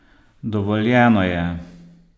Dovoljeno je!